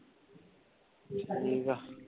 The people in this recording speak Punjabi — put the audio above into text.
ਠੀਕ ਆ।